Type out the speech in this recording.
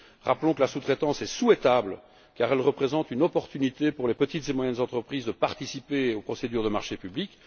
Rappelons que la sous traitance est souhaitable car elle représente une opportunité pour les petites et moyennes entreprises de participer aux procédures de marchés publics.